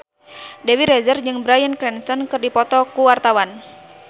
Dewi Rezer jeung Bryan Cranston keur dipoto ku wartawan